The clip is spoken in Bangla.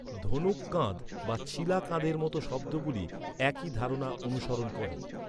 ‘ধনুক কাঁধ’ বা ‘ছিলা কাঁধের' মতো শব্দগুলি একই ধারণা অনুসরণ করে।